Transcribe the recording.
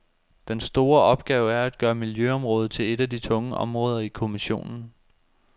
Den store opgave er at gøre miljøområdet til et af de tunge områder i kommissionen.